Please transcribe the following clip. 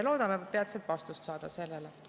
Loodame peatselt vastuseid saada nendele.